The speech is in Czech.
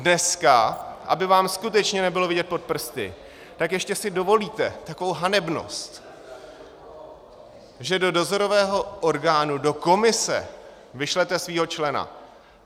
Dneska, aby vám skutečně nebylo vidět pod prsty, tak ještě si dovolíte takovou hanebnost, že do dozorového orgánu, do komise, vyšlete svého člena.